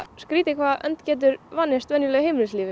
skrítið hvað önd getur vanist venjulegu heimilislífi